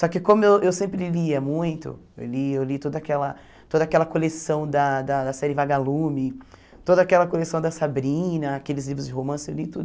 Só que como eu eu sempre lia muito, eu li eu li toda aquela toda aquela coleção da da série Vagalume, toda aquela coleção da Sabrina, aqueles livros de romance, eu li tudo.